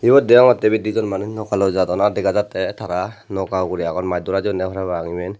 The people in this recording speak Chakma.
iyot degongotte ibet di jon manuj nokalloi jadon ar degongotte tar noka ugure agon maj dora jeyunne parapang iben.